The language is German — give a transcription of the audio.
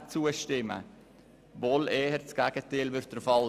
Es dürfte wohl eher das Gegenteil der Fall.